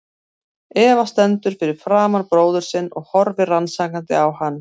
Eva stendur fyrir framan bróður sinn og horfir rannsakandi á hann.